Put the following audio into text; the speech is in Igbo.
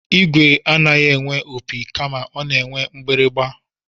Igwe anaghị enwe opi kama ọ na-enwe mgbịrịgba